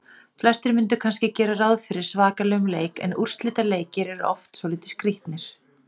Flestir myndu kannski gera ráð fyrir svakalegum leik en úrslitaleikir eru oft svolítið skrýtnir.